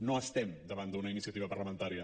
no estem davant d’una iniciativa parlamentària